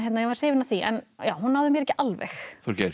var hrifin af því en hún náði mér ekki alveg Þorgeir